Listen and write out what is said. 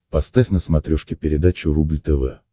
поставь на смотрешке передачу рубль тв